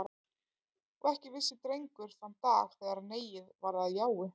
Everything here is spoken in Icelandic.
Og ekki vissi Drengur þann dag, þegar neiið varð að jái.